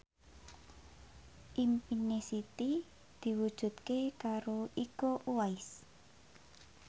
impine Siti diwujudke karo Iko Uwais